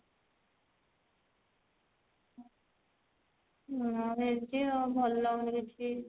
ଆଉ ଭଲ ଲାଗୁନି କିଛି